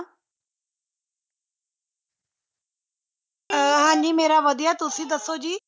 ਹਾਜ਼ੀ ਮੇਰਾ ਵਦਿਹਾ ਤੁਸੀ ਦਸੋ ਜੀ